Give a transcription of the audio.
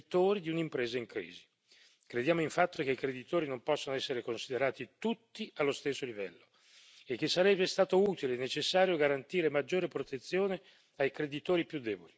Crediamo infatti che i creditori non possano essere considerati tutti allo stesso livello e che sarebbe stato utile e necessario garantire maggiore protezione ai creditori più deboli, i lavoratori, appunto.